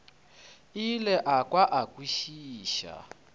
ile a kwa a kwešiša